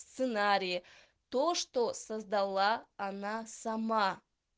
сценарии то что создала она сама